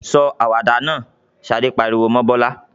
"Sọ àwàdà náà!" Ṣadé pariwo mọ́ Bọ́lá.